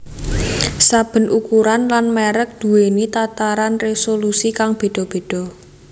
Saben ukuran lan mèrek duwèni tataran résolusi kang béda béda